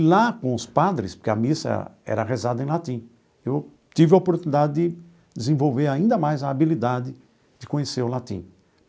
E lá com os padres, porque a missa era rezada em latim, eu tive a oportunidade de desenvolver ainda mais a habilidade de conhecer o latim.